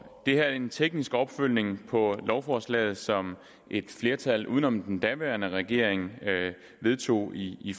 det her er en teknisk opfølgning på lovforslaget som et flertal uden om den daværende regering vedtog i i